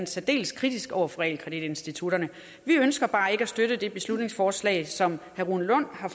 særdeles kritisk over for realkreditinstitutterne vi ønsker bare ikke at støtte det beslutningsforslag som herre rune lund har